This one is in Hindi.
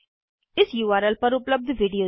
इस उर्ल पर उपलब्ध विडिओ देखें